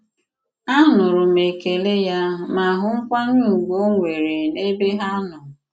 Anùrụ m ekèlè ya ma hụ nkwànyè ùgwù ò nwere n'ebe ha nọ.